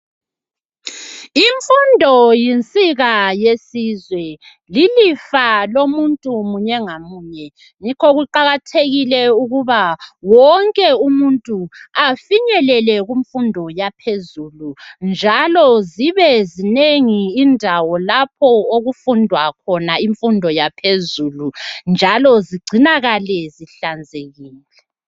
Imfundo yinsika yesizwe, lilifa lomuntu munye ngamunye. Yikho kuqakathekile ukuba wonke umuntu afinyelele kumfundo yaphezulu njalo zibezinengi indawo lapho okufundwa khona imfundo yaphezulu njalo zigcinakale zihlanzekile.